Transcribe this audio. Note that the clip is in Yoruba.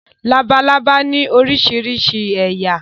Labalábá ní oríṣiríṣi ẹ̀yà.